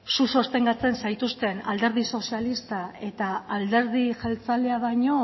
zu sostengatzen zaituzten alderdi sozialista eta alderdi jeltzalea baino